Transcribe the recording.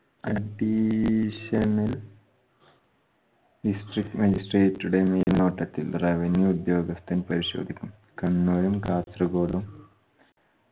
additional district magistrate ഉടെ മേൽനോട്ടത്തിൽ revenue ഉദ്യോഗസ്ഥൻ പരിശോധിക്കും കണ്ണൂരും കാസർകോടും